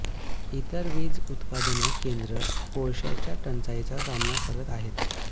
इतर वीज उत्पादन केंद्रे कोळशाच्या टंचाईचा सामना करत आहेत